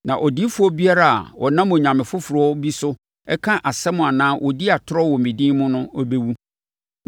Na odiyifoɔ biara a ɔnam onyame foforɔ bi so ka asɛm anaa ɔdi atorɔ wɔ me din mu no bɛwu.”